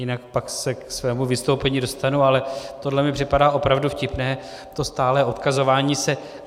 Jinak pak se ke svému vystoupení dostanu, ale tohle mi připadá opravdu vtipné, to stálé odkazování se.